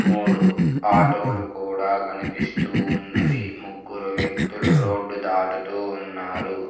మూడు ఆటోలు కూడా కనిపిస్తూ ఉన్నవి ముగ్గురు వ్యక్తులు రోడ్డు దాటుతూ ఉన్నారు.